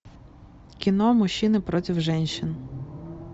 кино мужчины против женщин